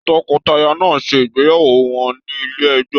Tọkọtaya náà ṣe ìgbéyàwó wọn ní ilé ẹjọ.